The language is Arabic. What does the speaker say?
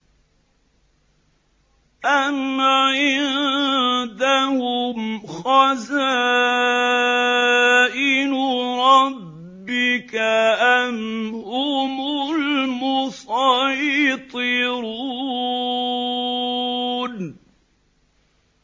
أَمْ عِندَهُمْ خَزَائِنُ رَبِّكَ أَمْ هُمُ الْمُصَيْطِرُونَ